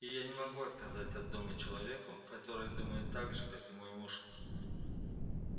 и я не могу отказать от дома человеку который думает так же как и мой муж